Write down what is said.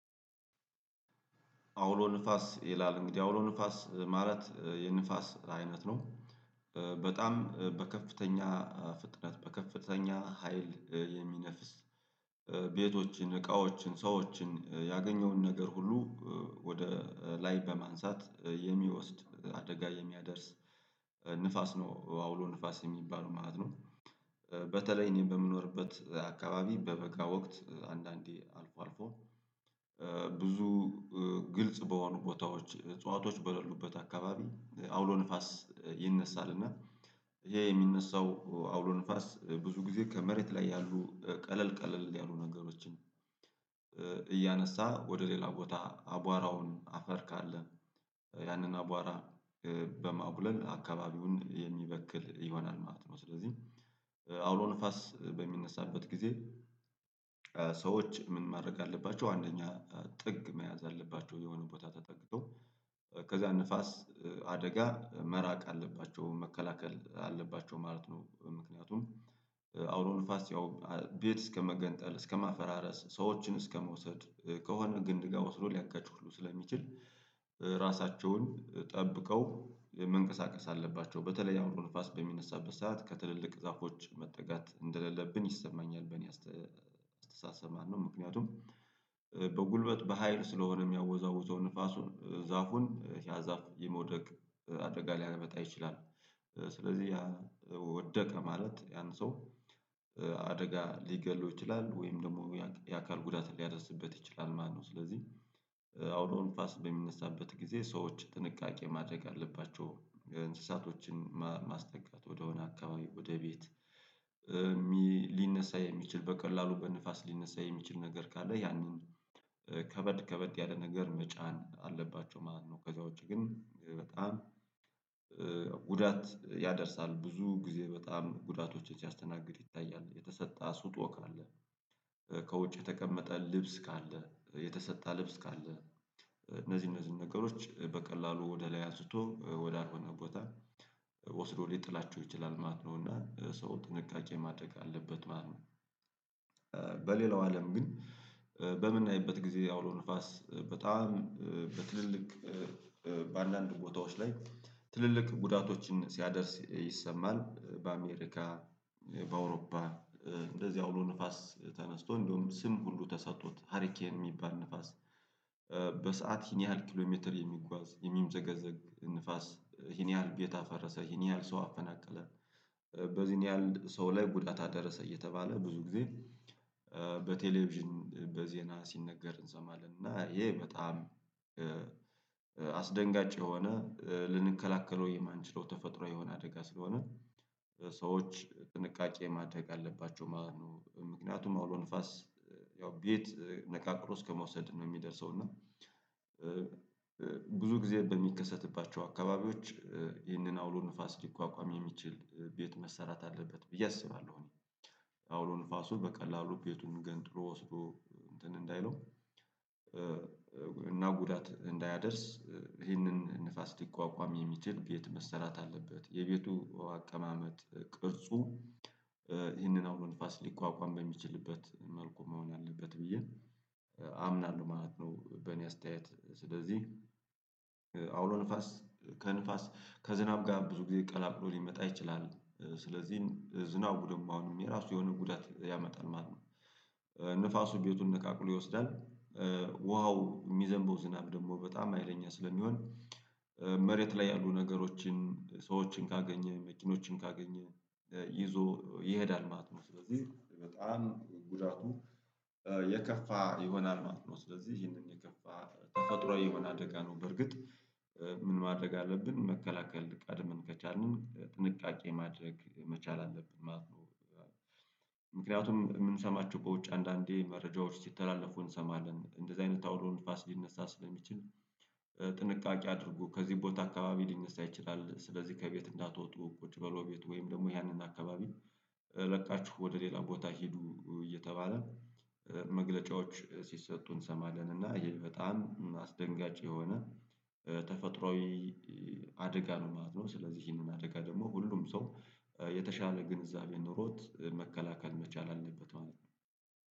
አውሎ ንፋስ ይላል እንግዲህ አውሎ ንፋስ ማለት የንፋስ አይነት ነው በጣም በከፍተኛ ፍጥነት በከፍተኛ ሀይል የሚነፍስ ቤቶችን እቃዎችን ሰዎችን ያገኘውን ነገር ሁሉ ወደ ላይ በማንሳት የሚወስድ አደጋ የሚያደርስ ንፋስ ነው አውሎ ንፋስ የሚባለው ማለት ነው። በተለይ እኔ በምኖርበት አካባቢ በበጋ ወቅት አንዳንዴ አልፎ አልፎ ብዙ ግልጽ በሆኑ ቦታዎች እጽዋቶች በሌሉበት አካባቢ አውሎ ንፋስ ይነሣልና ይሄ የሚነሳው አውሎ ንፋስ ብዙ ጊዜ ከመሬት ላይ ያሉ ቀለል ቀለል ያሉ ነገሮችን እያነሳ ወደ ሌላ ቦታ አቧራውን አፈር ካለ ያንን አቧራ በማቡነን አካባቢውን የሚበክል ይሆናል ማለት ነው ስለዚህ። አውሎ ንፋስ በሚነሳበት ጊዜ ሰዎች ምን ማድረግ አለባቸው አንደኛ ጥግ መያዝ አለባቸው የሆነ ቦታ ተጠግተው ከዛ ንፋስ አደጋ መራቅ አለባቸው መከላከል አለባቸው ማለት ነው ምክንያቱም አውሎ ንፋስ ያው ቤት እስከመገንጠል እስከማፈራረስ ሰዎችን እስከመውሰድ ከሆነ ግንድ ጋር ወስዶ ሊያጋጭ ሁሉ ስለሚችል ራሳቸውን ጠብቀው መንቀሳቀስ አለባቸው በተለይ አውሎ ንፋስ በሚነሳበት ሰዓት ከትልልቅ ዛፎች መጠጋት እንደሌለብን ይሰማኛል በእኔ አስተሳሰብ ማለት ነው። ምክንያቱም በጉልበት በሃይል ስለሆነ የሚያወዛውዘው ንፋሱን ዛፉን ያ ዛፍ የመውደቅ አድርጋ ሊያመጣ ይችላል ስለዚህ ያ ወደቀ ማለት ያን ሰው አደጋ ሊገለው ይችላል ወይም ደግሞ የአካል ጉዳት ሊያደርስበት ይችላል ማለት ነው። ስለዚህ አውሎ ንፋስ በሚነሳበት ጊዜ ሰዎች ጥንቃቄ ማድረግ አለባቸው እንስሳቶችን ማስጠጋት ወደሆነ አካባቢ ወደ ቤት ሊነሳ የሚችል በቀላሉ በንፋስ ሊነሳ የሚችል ነገር ካለ ያንን ከበድ ከበድ ያለ ነገር መጫን አለባቸው ማለት ነው። ከዛ ውጪ ግን በጣም ጉዳት ያደርሳል ብዙ ጊዜ በጣም ጉዳቶችን ሲያስተናግድ ይታያል የተሰጠ ስጦ ካለ ከውጭ የተቀመጠ ልብስ ካለ የተሰጣ ልብስ ካለ እነዚህ እነዚህን ነገሮች በቀላሉ ወደ ላይ አንስቶ ወደ አልሆነ ቦታ ወስዶ ሊጥላቸው ይችላል ማለት ነውና ሰው ጥንቃቄ ማድረግ አለበት ማለት ነው። በሌላው አለም ግን በምናይበት ጊዜ አውሎ ንፋስ በጣም በትልልቅ በአንዳንድ ቦታዎች ላይ ትልልቅ ጉዳቶችን ሲያደርስ ይሰማል በአሜሪካ በአውሮፓ እንደዚህ አውሎ ንፋስ ተነስቶ እንደውም ስም ሁሉ ተሰጥቶት ሀሪኬን የሚባል ንፋስ በሰአት ይሄን ያህል ኪሎ ሜትር የሚጓዝ የሚምዘገዘግ ንፋስ ይሄን ያህል ቤት አፈረሰ ይሄን ያህል ሰው አፈናቀለ በዚህን ያህል ሰው ላይ ጉዳት አደረሰ እየተባለ ብዙ ጊዜ በቴሌቪዥን በዜና ሲነገር እንሰማለን እና ይሄ በጣም አስደንጋጭ የሆነ ልንከላከለው የማንችለው ተፈጥሯዊ የሆነ አደጋ ስለሆነ ሰዎች ጥንቃቄ ማድረግ አለባቸው ማለት ነው። ምክንያቱም አውሎ ንፋስ ያው ቤት ነቃቅሎ እስከመውሰድ ነው የሚደርሰው እና ብዙ ጊዜ በሚከሰትባቸው አካባቢዎች ይህንን አውሎ ንፋስ ሊቋቋም የሚችል ቤት መሰራት አለበት ብዬ አስባለሁ እኔ አውሎ ንፋሱ በቀላሉ ቤቱን ገንጥሎ ወስዶ እንትን እንዳይለው እና ጉዳት እንዳያደርስ ይህንን ንፋስ ሲቋቋም የሚችል ቤት መሰራት አለበት የቤቱ አቀማመጥ ቅርጹ ይህንን አውሎ ንፋስ ሊቋቋም በሚችልበት መልኩ መሆን አለበት ብዬ አምናለሁ ማለት ነው። በእኔ አስተያየት ስለዚህ አውሎ ንፋስ ከንፋስ ከዝናብ ጋር ብዙ ጊዜ ቀላቅሎ ሊመጣ ይችላል ስለዚህ ዝናቡ ደግሞ አሁንም የራሱ የሆነ ጉዳት ያመጣል ማለት ነው። ንፋሱ ቤቱን ነቃቅሎ ይወስዳል ውሃው የሚዘንበው ዝናብ ደግሞ በጣም ሀይለኛ ስለሚሆን መሬት ላይ ያሉ ነገሮችን ሰዎችን ካገኘ መኪኖችን ካገኘ ይዞ ይሄዳል ማለት ነው ስለዚህ በጣም ጉዳቱ የከፋ ይሆናል ማለት ነው። ስለዚህ ይሄንን የከፋ ተፈጥሯዊ የሆነ አደጋ ነው በርግጥ ምን ማድረግ አለብን መከላከል ቀድምን ከቻልንን ጥንቃቄ ማድረግ መቻል አለብን ማለት ነው። ምክንያቱም የምንሰማቸው በውጭ አንዳንዴ መረጃዎች ሲተላለፉ እንሰማለን እንደዚህ አይነት ታውሎ ንፋስ ሊነሳ ስለሚችል ጥንቃቄ አድርጎ ከዚህ ቦታ አካባቢ ሊነሳ ይችላል ስለዚህ ከቤት እንዳትወጡ ቁጭ በሉ ቤት ወይም ደግሞ ያንን አካባቢ ለቃችሁ ወደ ሌላ ቦታ ሄዱ እየተባለ መግለጫዎች ሲሰጡ እንሰማለን እና ይሄ በጣም አስደንጋጭ የሆነ ተፈጥሯዊ አደጋ ነው ማለት ነው። ስለዚህ ይሄንን አደጋ ደግሞ ሁሉም ሰው የተሻለ ግንዛቤ ኖሮት መከላከል መቻል አለበት ማለት ነው።